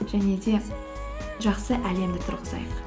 және де жақсы әлемді тұрғызайық